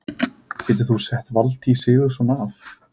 Getur þú sett Valtý Sigurðsson af?